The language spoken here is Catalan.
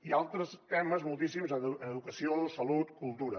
i altres temes moltíssims en educació salut cultura